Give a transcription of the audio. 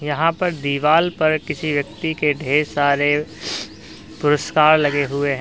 यहां पर दीवाल पर किसी व्यक्ति के ढेर सारे पुरस्कार लगे हुए हैं।